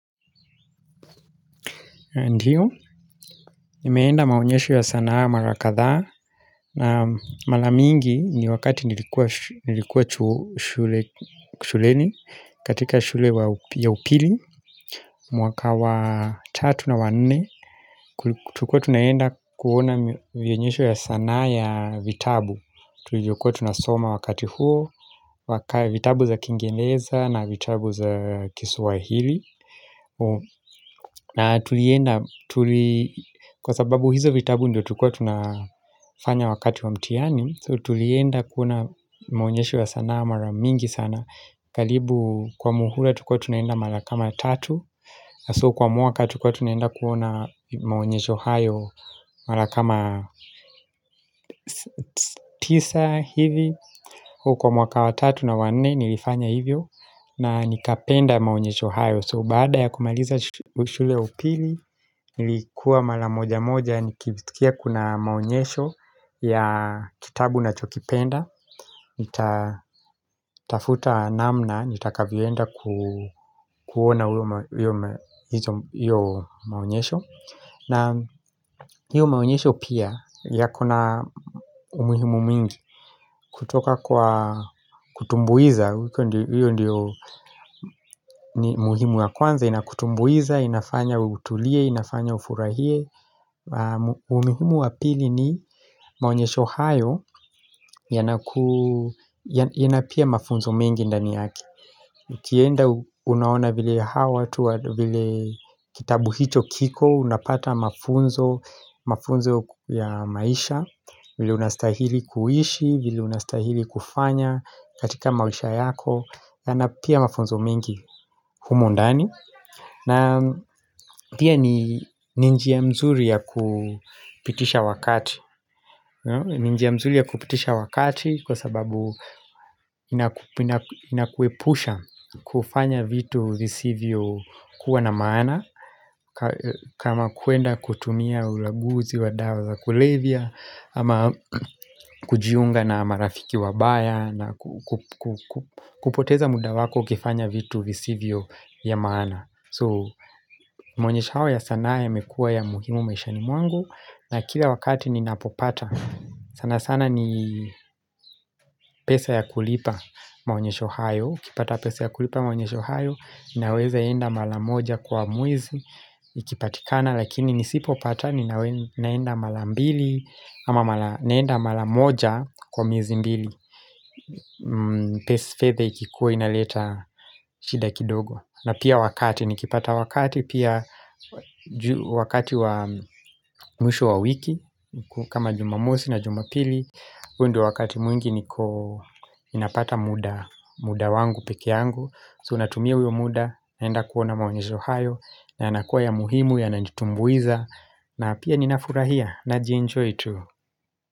Ndiyo, nimeenda maonyesho ya sanaa mara kadhaa, na mara mingi ni wakati nilikuwa shule shuleni, katika shule ya upili, mwaka wa tatu na wa nne, tulikua tunaenda kuona vionyesho ya sanaa ya vitabu, tulichokua tunasoma wakati huo, vitabu za kiingereza na vitabu za kiswahili, na tulienda, kwa sababu hizo vitabu ndio tulikua tunafanya wakati wa mtihani So tulienda kuona maonyesho wa sanaa mara mingi sana karibu kwa muhula tulikua tunaenda mara kama tatu So kwa mwaka tulikua tunaenda kuona maonyesho hayo mara kama tisa hivi huko Kwa mwaka wa tatu na wanne nilifanya hivyo na nikapenda maonyesho hayo So baada ya kumaliza shule ya upili nilikuwa mara moja moja Nikishtukia kuna maonyesho ya kitabu nachokipenda Nitatafuta namna nitakavyoenda kuona hiyo maonyesho na hiyo maonyesho pia yako na umuhimu mingi kutoka kwa kutumbuiza hiyo ndiyo muhimu wa kwanza Inakutumbuiza, inafanya utulie inafanya ufurahie umuhimu wa pili ni maonyesho hayo ina pia mafunzo mengi ndani yake ukienda unaona vile hawa vile kitabu hicho kiko unapata mafunzo mafunzo ya maisha vile unastahili kuishi vile unastahili kufanya katika maisha yako na na pia mafunzo mengi humo ndani na pia ni ni njia mzuri ya kupitisha wakati ni njia mzuri ya kupitisha wakati Kwa sababu inakuepusha kufanya vitu visivyo kuwa na maana kama kuenda kutumia ulaguzi wa dawa za kulevya ama kujiunga na marafiki wabaya kupoteza muda wako ukifanya vitu visivyo ya maana So maonyesho hawa ya sanaa yamekua ya muhimu maishani mwangu na kila wakati ninapopata sana sana ni pesa ya kulipa maonyesho hayo ukipata pesa ya kulipa maonyesho hayo Naweza enda mara moja kwa mwezi Ikipatikana lakini nisipopata Ninaenda mara mbili ama naenda mara moja kwa miezi mbili fedha ikikuwa inaleta shida kidogo na pia wakati nikipata wakati pia wakati wa mwisho wa wiki kama jumamosi na jumapili huo ndio wakati mwingi niko ninapata muda muda wangu peke yangu so natumia huyo muda naenda kuona maonyesho hayo na yanakuwa ya muhimu yananitumbuiza na pia ninafurahia najienjoy tu.